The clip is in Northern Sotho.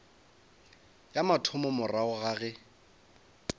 ya mathomo morago ga ge